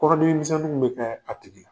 Kɔrɔdimi misɛnnin bɛ kɛ a tigi la.